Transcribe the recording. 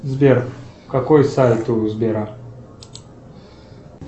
сбер какой сайт у сбера